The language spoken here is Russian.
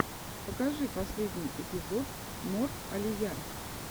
покажи последний эпизод мор алия